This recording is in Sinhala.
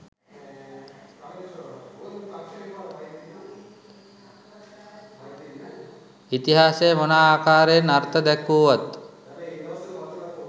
ඉතිහාසය මොන ආකාරයෙන් අර්ථ දැක්වුවත්